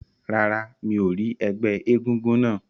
Rárá, mi ò rí ẹgbẹ́ egúngún náà.